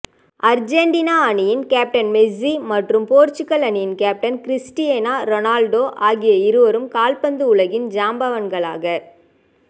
Argentina அணியின் captain Messi மற்றும் Portugal அணியின் கேப்டன் கிரிஸ்டியானோ ரொனால்டோ ஆகிய இருவரும் கால்பந்து உலகில் ஜாம்பாவான்களாக